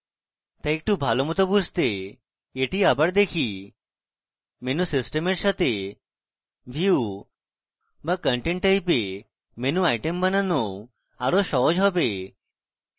তাই একটু ভালোমত বুঝতে এটি আবার দেখি menu system a এর সাথে view so content type a menu item বানানো আরো সহজ হবে